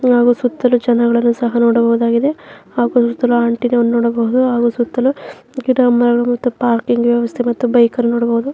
ಇಲ್ಲಿ ಸುತ್ತಲು ಜನಗಳನ್ನ ಸಹ ನೋಡಬಹುದಾಗಿದೆ ಹಾಗು ಇಬ್ಬರು ಆಂಟಿ ಗಳನ್ನೂ ನೋಡಬಹುದು ಹಾಗು ಸುತ್ತಲೂ ಗಿಡ ಮರ ಮತ್ತು ಪಾರ್ಕಿಂಗ್ ವ್ಯವಸ್ಥೆ ಮತ್ತು ಬೈಕ್ ಗಳನ್ನೂ ನೋಡಬಹುದು.